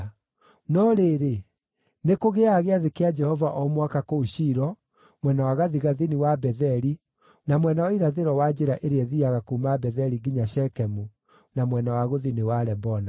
No rĩrĩ, nĩkũgĩaga gĩathĩ kĩa Jehova o mwaka kũu Shilo, mwena wa gathigathini wa Betheli, na mwena wa irathĩro wa njĩra ĩrĩa ĩthiiaga kuuma Betheli nginya Shekemu, na mwena wa gũthini wa Lebona.”